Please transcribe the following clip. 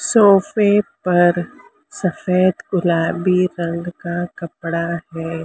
सोफे पर सफेद गुलाबी रंग का कपड़ा है।